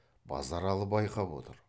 базаралы байқап отыр